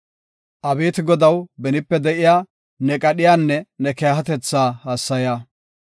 Abeeti Godaw, benipe de7iya ne qadhiyanne ne keehatetha hassaya.